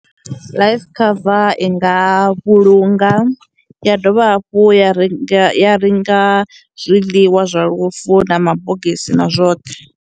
Life cover i nga vhulunga, ya dovha hafhu ya ri ya renga zwiḽiwa zwa lufu na mabogisi na zwoṱhe.